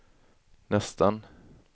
nästan